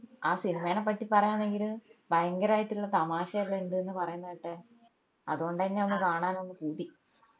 ആ സിനിമേന പറ്റി പറയാന്നാണെങ്കിൽ ഭയങ്കരയിട്ടിള്ള തമാശ എല്ലൊം ഇണ്ട്ന്ന് പറേന്ന കേട്ടെ അതോണ്ടെന്നെയാ ഒന്ന് കാണാനൊന്ന് പൂതി